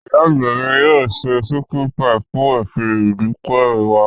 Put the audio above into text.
Ìyá àgbà mi yóò se chicken pie fún ìsìn ìdúpẹ́ wa.